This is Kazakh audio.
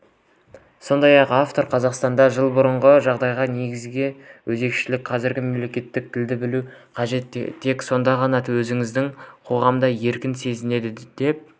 сондай-ақ автор қазақстанда жыл бұрынғы жағдайдан негізгі өзгешелік қазір мемлекеттік тілді білу қажет тек сонда ғана өзіңді қоғамда еркін сезінесің деп